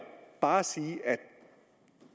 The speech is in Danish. bare sige at